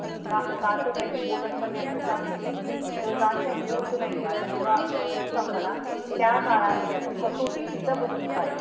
का का तर माहितीये बोलत पण नाही आपण माहितीये. तर कारण का होत नाहिये आता जेव्हा तु सांग मला त्या काळामध्ये आपण कसौटीसुद्धा बसून पहायचो.